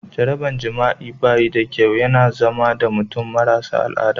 Jarabar jima'i ba yi da kyau, ya na zama da mutum marasa al'ada.